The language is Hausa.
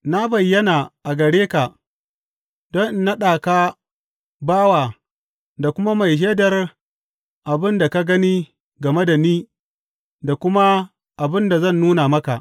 Na bayyana a gare ka don in naɗa ka bawa da kuma mai shaidar abin da ka gani game da ni da kuma abin da zan nuna maka.